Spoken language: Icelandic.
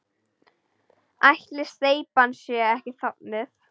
Ætli steypan sé ekki þornuð?